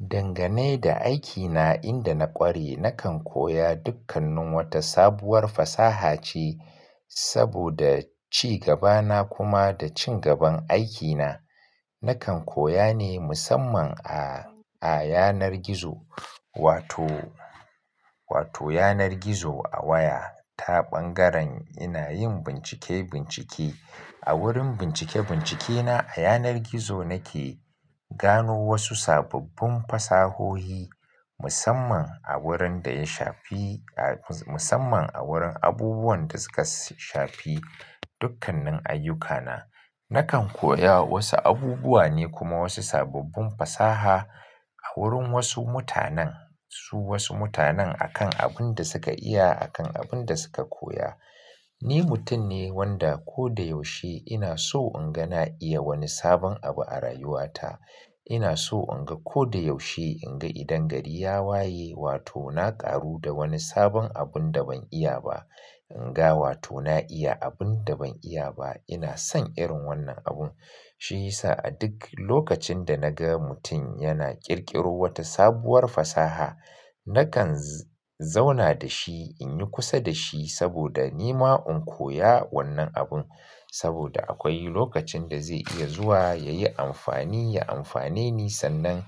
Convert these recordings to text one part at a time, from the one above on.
Dangane da aikina, inda na ƙware, nakan koya dukkanin wata sabuwar fasaha ce saboda ci gabana kuma da cin gaban aikina. Nakan koya ne musamman a, a yanar gizo wato, wato yanar gizo a waya ta ɓangaren ina yin bincike-bincike. A wurin bincike-bincike na a yanar gizo nake gano wasu sababbin fasahohi musamman a wurin da ya shafi, a musamman a wurin abubuwan da suka shafi dukkanin ayyukana. Nakan koya wasu abubuwa ne kuma wasu sababbin fasaha a wurin wasu mutanen, su wasu mutanen akan abin da suka iya, akan abin da suka koya. Ni mutum ne wanda ko da yaushe ina so in ga na iya wani sabon abu a rayuwata. Ina so in ga ko da yaushe in ga idan gari ya waye wato na ƙaru da wani sabon abun da ban iya ba. In ga wato na iya abun da ban iya ba. Ina son irin wannan abun. Shi sa a duk lokacin da na ga mutum yana ƙirƙiro wata sabuwar fasaha, nakan z-zauna da shi in yi kusa da shi saboda ni ma in koya wannan abun saboda akwai lokacin da zai iya zuwa ya yi amfani, ya amfane ni sannan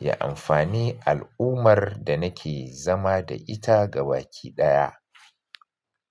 ya amfani al'ummar da nake zama da ita gaba ki ɗaya.